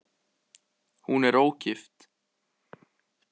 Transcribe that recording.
Hún er ógift.